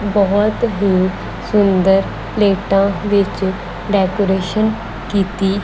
ਬਹੁਤ ਹੀ ਸੁੰਦਰ ਪਲੇਟਾ ਵਿੱਚ ਡੈਕੋਰੇਸ਼ਨ ਕੀਤੀ।